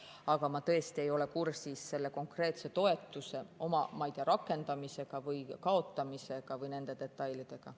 Aga ma tõesti ei ole kursis selle konkreetse toetuse, ma ei tea, rakendamise või kaotamisega või nende detailidega.